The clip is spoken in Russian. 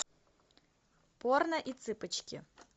порно и цыпочки